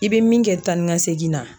I bɛ min kɛ tan ni ka segin na.